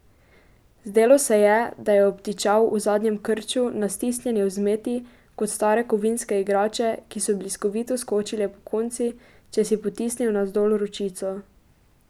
Zdelo se je, da je obtičal v zadnjem krču na stisnjeni vzmeti, kot stare kovinske igrače, ki so bliskovito skočile pokonci, če si potisnil navzdol ročico.